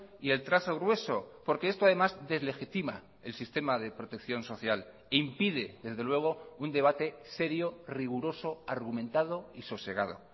y el trazo grueso porque esto además deslegitima el sistema de protección social impide desde luego un debate serio riguroso argumentado y sosegado